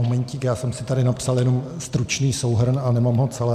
Moment, já jsem si tady napsal jenom stručný souhrn a nemám ho celý.